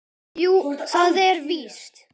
Jú, það er víst.